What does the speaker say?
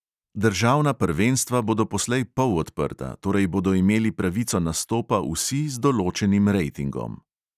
Državna prvenstva bodo poslej polodprta, torej bodo imeli pravico nastopa vsi z določenim rejtingom.